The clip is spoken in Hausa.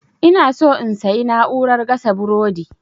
inaso in sayi na'urar gasa burodi